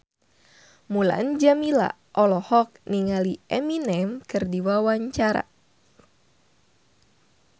Mulan Jameela olohok ningali Eminem keur diwawancara